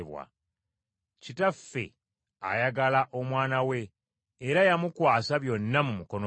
Kitaffe ayagala Omwana we era yamukwasa byonna mu mukono gwe.